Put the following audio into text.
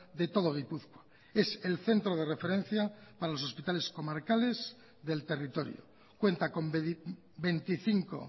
de todo gipuzkoa es el centro de referencia para los hospitales comarcales del territorio cuenta con veinticinco